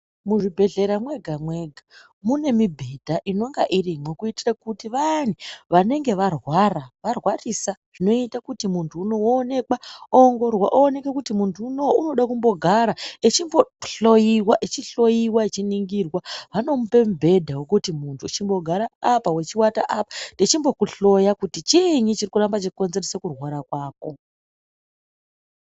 Muzvibhedhlera mwega mwega mune mibhedha inonga iripo kuitira kuti vayani vanenge varwara, varwarisa zvinoita kuti muntu unou woonekwa woongororwa oonekwa kuti muntu uuno unoda kumbogara echimbohloyiwa echiihloyiwa echiningirwa vanomupa mubhedha kuti chimbogara apa weiwata apa veimboku hloya kuti chiinyi chirikuramba cheikonzeresa kurwara kwako.